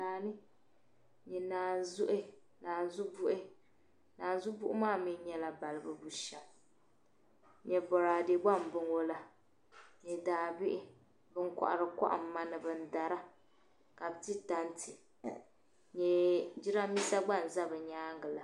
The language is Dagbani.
n-nyɛ naanzubuhi naanzubuhi maa mi nyɛla balibu bushɛm n-nyɛ bɔraade gba m-bɔŋɔ la ni daabihi ban kɔhiri kɔhimma ni ban dara ka bɛ ti tanti n-nyɛ jidambiisa gba n-za bɛ nyaaŋga la